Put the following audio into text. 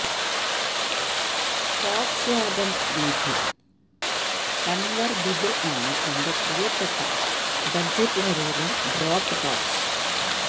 Volkswagen Beetle convertible ആണ് എന്റെ പ്രിയപ്പെട്ട ബജറ്റ് നിരയിലെ ഡ്രോപ്പ് ടോപ്സ്